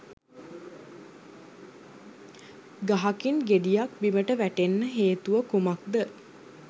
ගහකින් ගෙඩියක් බිමට වැටෙන්න හේතුව කුමක්ද?